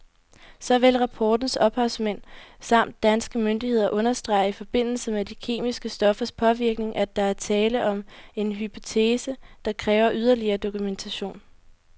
Såvel rapportens ophavsmænd samt danske myndigheder understreger i forbindelse med de kemiske stoffers påvirkning, at der er tale om en hypotese, der kræver yderligere dokumentation.